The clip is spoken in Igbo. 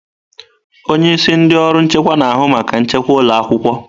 Onye isi ndị ọrụ nchekwa na-ahụ maka nchekwa ụlọ akwụkwọ.